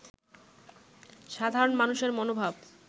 সাধরণ মানুষের মনোভাব